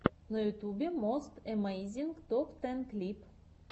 на ютюбе мост эмейзинг топ тэн клип